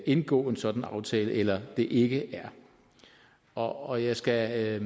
indgå en sådan aftale eller om det ikke er og jeg skal